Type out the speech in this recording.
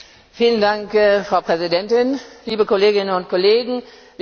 Frau Präsidentin, liebe Kolleginnen und Kollegen, liebe Kommissare!